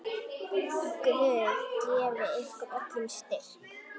Guð gefi ykkur öllum styrk.